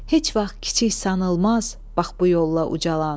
Heç vaxt kiçik sanılmaz bax bu yolla ucalan.